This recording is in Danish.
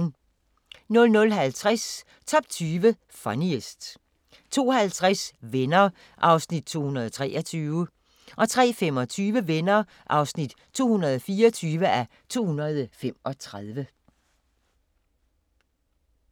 00:50: Top 20 Funniest 02:50: Venner (223:235) 03:25: Venner (224:235)